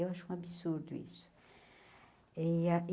Eu acho um absurdo isso. eh